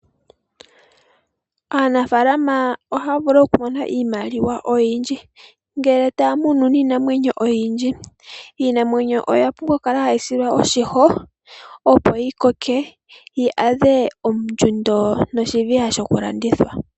Aanafalama ohaya vulu okumona iimaliwa oyindji ngele taya munu niinamwenyo oyindji. Iinamwenyo oya pumbwa okukala hayi silwa oshimpwiyu, opo yi koke yi adhe ondjundo noshiviha shokulanditha.